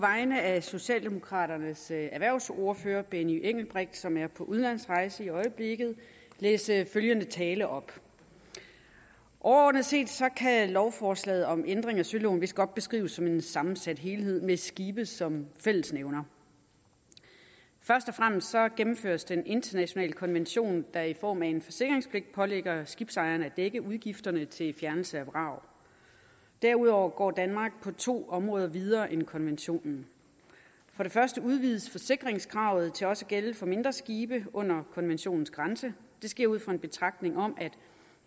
vegne af socialdemokraternes erhvervsordfører herre benny engelbrecht som er på udenlandsrejse i øjeblikket læse følgende tale op overordnet set kan lovforslaget om ændring af søloven vist godt beskrives som en sammensat helhed med skibe som fællesnævner først og fremmest gennemføres den internationale konvention der i form af en forsikringspligt pålægger skibsejeren at dække udgifterne til fjernelse af vrag derudover går danmark på to områder videre end konventionen for det første udvides forsikringskravet til også at gælde for mindre skibe under konventionens grænse det sker ud fra en betragtning om at